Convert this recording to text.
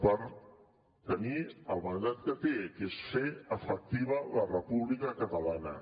per tenir el mandat que té que és fer efectiva la república catalana